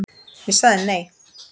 Ég sagði nei.